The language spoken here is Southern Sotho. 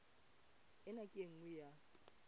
ena ke e nngwe ya